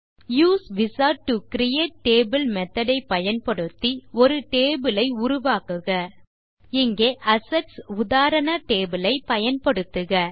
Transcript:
use wizard to create table method ஐ பயன்படுத்தி ஒரு டேபிள் ஐ உருவாக்குக இங்கே அசெட்ஸ் உதாரண டேபிள் ஐ பயன்படுத்துக